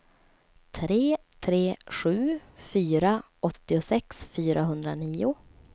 tre tre sju fyra åttiosex fyrahundranio